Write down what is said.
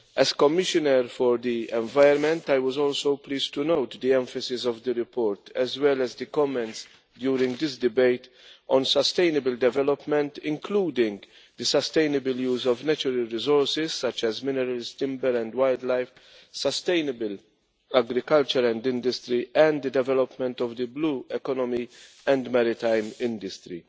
As Commissioner for the Environment, I was also pleased to note the emphasis of the report as well as the comments during this debate on sustainable development, including the sustainable use of natural resources such as minerals, timber and wildlife, sustainable agriculture and industry, and the development of the blue economy and maritime industry.